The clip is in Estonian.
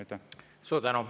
Suur tänu!